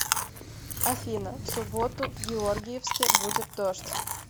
афина в субботу в георгиевске будет дождь